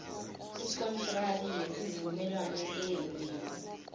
ikontraki yesivumelwano eyenziwe